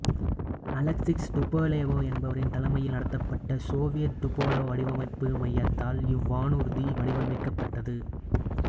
Alexis Tupolev என்பவரின் தலைமையில் நடத்தப்பட்ட சோவியத் டுபோலேவ் வடிவமைப்பு மையத்தால் இவ்வானூர்தி வடிவமைக்கப்பட்டது